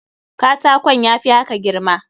Katakon ya fi haka girma.